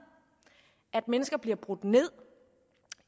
at mennesker bliver brudt ned